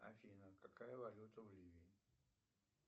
афина какая валюта в ливии